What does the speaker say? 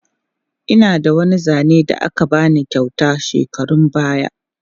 Ina da wani zane da aka ba ni kyauta shekarun baya.